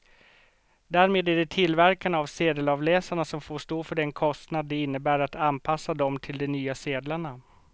Därmed är det tillverkarna av sedelavläsarna som får stå för den kostnad det innebär att anpassa dem till de nya sedlarna.